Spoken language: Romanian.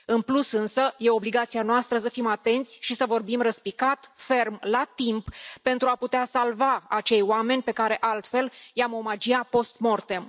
În plus, însă, este obligația noastră să fim atenți și să vorbim răspicat, ferm, la timp, pentru a putea salva acei oameni pe care altfel i am omagia post mortem